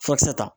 Furakisɛ ta